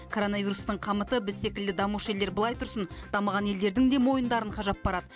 коронавирустың қамыты біз секілді дамушы елдер былай тұрсын дамыған елдердің де мойындарын қажап барады